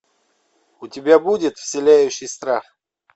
у тебя будет вселяющий страх